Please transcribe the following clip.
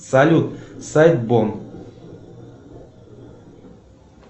салют сайт бон